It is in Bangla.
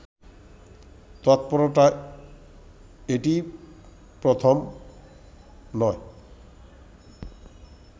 তৎপরতা এটিই প্রথম নয়